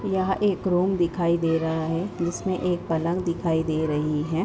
यहाँ एक रूम दिखाई दे रहा है जिसमें एक पलंग दिखाई दे रही है।